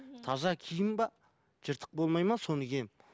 таза киім бе жыртық болмайды ма соны киемін